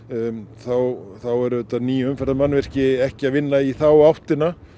þá eru auðvitað ný umferðarmannvirki ekki að vinna í þá áttina